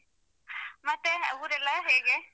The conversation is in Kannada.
ಮತ್ತೆ ಊರೆಲ್ಲಾ ಹೇಗೆ?